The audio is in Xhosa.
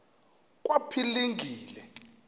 kwaphilingile